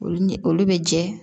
Olu ni olu be jɛ